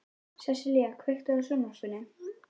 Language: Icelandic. Sessilía, kveiktu á sjónvarpinu.